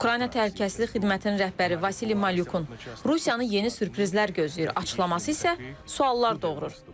Ukrayna təhlükəsizlik xidmətinin rəhbəri Vasili Malyukun Rusiyanı yeni sürprizlər gözləyir açıqlaması isə suallar doğurur.